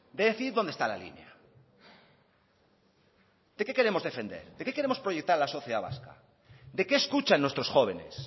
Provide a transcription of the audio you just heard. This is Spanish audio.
de decir dónde está la línea de qué queremos defender de qué queremos proyectar a la sociedad vasca d qué escuchan nuestros jóvenes